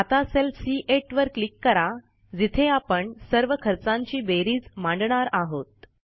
आता सेल सी8 वर क्लिक करा जिथे आपण सर्व खर्चांची बेरीज मांडणार आहोत